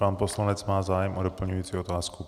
Pan poslanec má zájem o doplňující otázku.